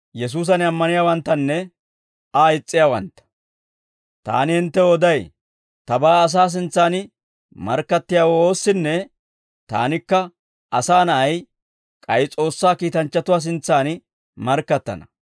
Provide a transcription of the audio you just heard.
«Taani hinttew oday; tabaa asaa sintsan markkattiyaawoo oossinne Taanikka Asaa Na'ay, k'ay S'oossaa kiitanchchatuwaa sintsan markkattana;